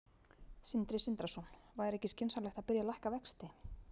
Sindri Sindrason: Væri ekki skynsamlegt að byrja að lækka vexti?